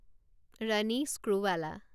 Ronnie Screwvala